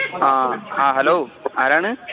hello ആരാണ്